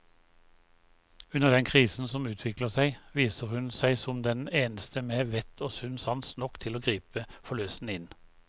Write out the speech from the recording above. Under den krisen som utvikler seg, viser hun seg som den eneste med vett og sunn sans nok til å gripe forløsende inn.